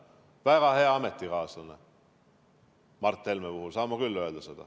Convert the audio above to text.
Väga hea ametikaaslane – Mart Helme kohta saan ma seda küll öelda.